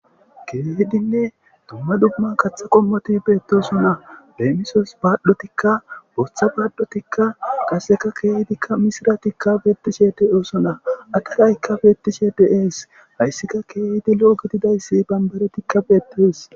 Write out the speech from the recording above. keeydinne dumma dumman kaththa qommoti beettoso na beemisos baaddotikka botha baaddotikka qaseka keeydikka misiratikka bettishe de7oosona ataraykka beettishe deees hayssika keeydi lo7o gididayssi bambaretikka beettees